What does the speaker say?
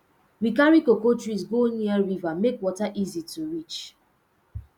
we carry cocoa trees go near river make water easy to reach